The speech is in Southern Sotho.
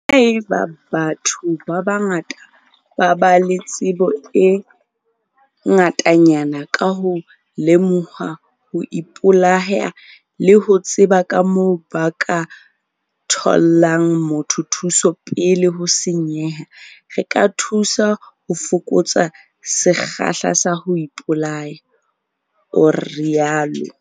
"Haeba batho ba bangata ba ba le tsebo e ngatanyana ka ho lemoha ho ipolaya le ho tseba kamoo ba ka thollang motho thuso pele ho senyeha, re ka thusa ho fokotsa sekgahla sa ho ipolaya," o rialo.